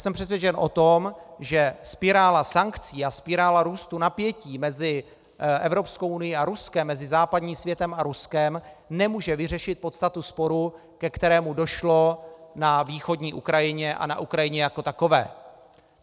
Jsem přesvědčen o tom, že spirála sankcí a spirála růstu napětí mezi Evropskou unií a Ruskem, mezi západním světem a Ruskem, nemůže vyřešit podstatu sporu, ke kterému došlo na východní Ukrajině a na Ukrajině jako takové.